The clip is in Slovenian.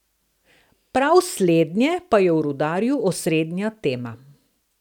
Prav slednje pa je v Rudarju osrednja tema.